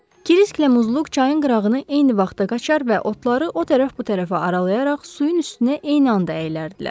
Krisklə Muzluk çayın qırağını eyni vaxtda qaçar və otları o tərəf-bu tərəfə aralayaraq suyun üstünə eyni anda əyilərdilər.